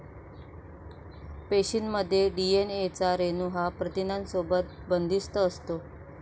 पेशीमध्ये डीएनए चा रेणू हा प्रथिनांसोबत बंदिस्त असतो.